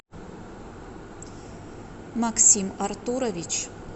максим артурович